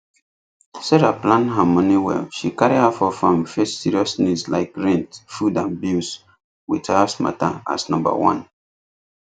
sarah plan her money well she carry half of am face serious needs like rent food and bills with house matter as number one